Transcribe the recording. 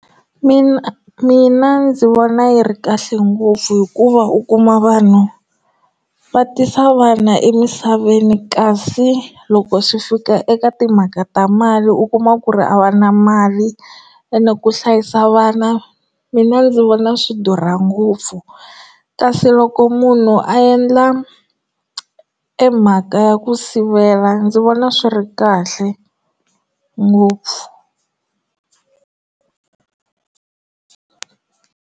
Mina mina ndzi vona yi ri kahle ngopfu hikuva u kuma vanhu va tisa vana emisaveni kasi loko swi fika eka timhaka ta mali u kuma ku ri a va na mali ene ku hlayisa vana mina ndzi vona swi durha ngopfu kasi loko munhu a endla emhaka ya ku sivela ndzi vona swi ri kahle ngopfu.